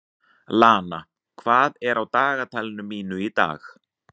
Lana, hvað er á dagatalinu mínu í dag?